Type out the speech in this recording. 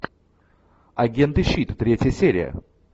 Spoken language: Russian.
агенты щит третья серия